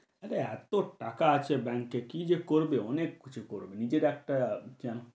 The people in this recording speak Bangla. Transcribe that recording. আরে এত টাকা আছে bank এ কী যে করবে অনেক কিছু করবে। নিজের একটা যেমন